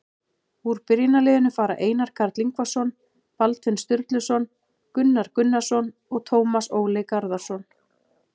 Úr byrjunarliðinu fara Einar Karl Ingvarsson, Baldvin Sturluson, Gunnar Gunnarsson og Tómas Óli Garðarsson.